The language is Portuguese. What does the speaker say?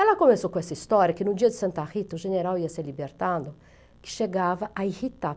Ela começou com essa história, que no dia de Santa Rita, o general ia ser libertado, que chegava a irritar.